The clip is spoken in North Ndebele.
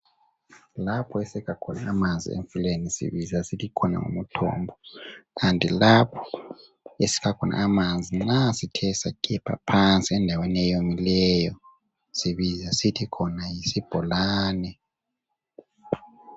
Lapho esikha khona amanzi emfuleni sibiza sithi khona ngumthombo .Kanti lapho esikha khona amanzi nxa sithe sagebha phansi endaweni eyomileyo sibiza sithi khona yisibholane .